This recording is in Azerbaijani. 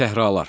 Səhralar.